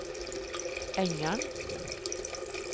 Engan